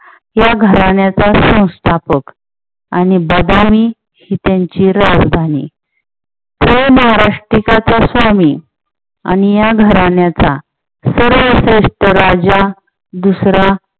या घराण्याचा संस्थापक आणि बगारी ही त्यांची राजधानी तो महाराष्ट्रीकाचा स्वामी आणि या घराण्याचा सर्वश्रेष्ठ राजा दुसरा